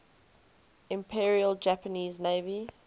imperial japanese navy